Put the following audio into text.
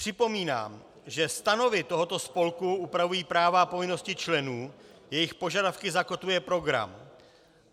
Připomínám, že stanovy tohoto spolku upravují práva a povinnosti členů, jejich požadavky zakotvuje program.